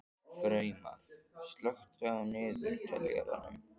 Freymar, slökktu á niðurteljaranum.